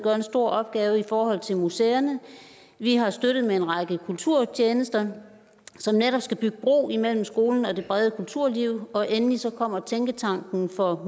en stor opgave i forhold til museerne vi har støttet med en række kulturtjenester som netop skal bygge bro mellem skole og det brede kulturliv og endelig kommer tænketanken for